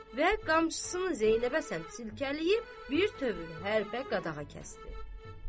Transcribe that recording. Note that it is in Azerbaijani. Və qamçısını Zeynəbə səmt çiləyib bir tövr hərbə qadağa kəsdi.